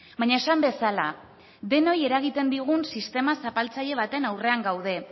baina esan bezala denoi eragiten digun sistema zapaltzaile baten aurrean gaude